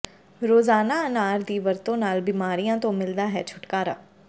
ਰੋਜ਼ਾਨਾ ਅਨਾਰ ਦੀ ਵਰਤੋ ਨਾਲ ਬੀਮਾਰੀਆਂ ਤੋਂ ਮਿਲਦਾ ਹੈ ਛੁਟਕਾਰਾ